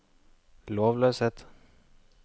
lovløshet